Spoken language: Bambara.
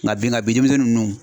Nka bi nka denmisɛnnin ninnu